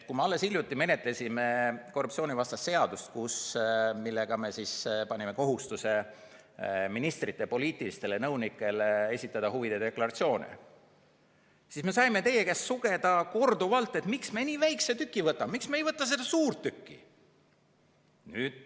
Kui me alles hiljuti menetlesime korruptsioonivastast seadust, millega me panime kohustuse ministrite poliitilistele nõunikele esitada huvide deklaratsioone, siis me saime teie käest korduvalt sugeda, miks me nii väikse tüki võtame, miks me ei võta ette seda suurt tükki.